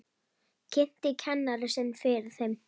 Kynnti kennara sinn fyrir þeim.